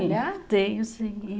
Sim, tenho, sim.